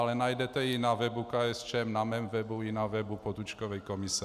Ale najdete ji na webu KSČM, na mém webu i na webu Potůčkovy komise.